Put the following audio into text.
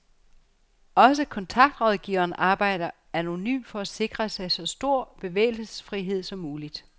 Også kontaktrådgiveren arbejder anonymt for at sikre sig så stor bevægelsesfrihed som muligt.